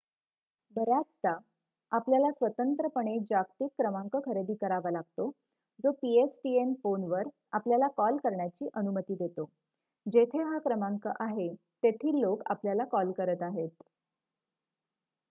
बर्‍याचदा आपल्याला स्वतंत्रपणे जागतिक क्रमांंक खरेदी करावा लागतो जो pstn फोनवर आपल्याला कॉल करण्याची अनुमती देतो जेथे हा क्रमांक आहे तेथील लोक आपल्याला कॉल करत आहेत